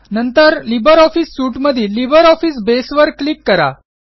नंतर LibreOffice suite मधील LibreOffice Base वर क्लिक करा